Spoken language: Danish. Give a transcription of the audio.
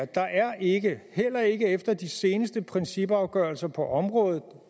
der er ikke heller ikke efter de seneste principafgørelser på området